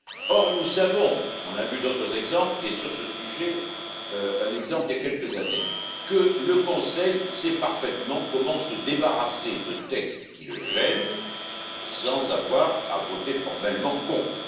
Or, nous savons nous avons vu d'autres exemples et, sur ce sujet, un exemple il y a quelques années que le Conseil sait parfaitement comment se débarrasser de textes qui le gênent, sans avoir à voter formellement contre.